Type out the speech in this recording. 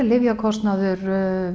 lyfjakostnaður